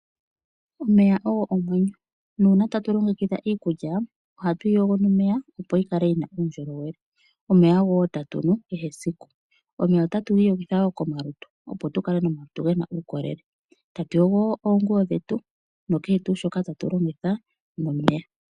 Omeya ogo omwenyo nuuna tatu longekidha iikulya oha tuyi yogo nomeya opo yi kale yi na uundjolowele, omeya ogo wo ta tunu kehe esiku, omeya otatu iyogitha wo komalutu opo tukale nomalutu ge na uukolele tatu yogo wo oonguwo dhetu nokeshe tu shoka tatu longitha nomeya.